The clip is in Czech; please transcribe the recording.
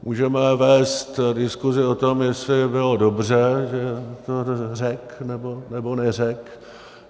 Můžeme vést diskuzi o tom, jestli bylo dobře, že to řekl, nebo neřekl.